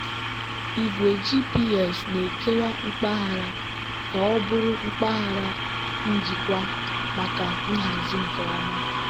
igwe gps na-ekewa mpaghara ka ọ bụrụ mpaghara njikwa maka nhazi nke ọma.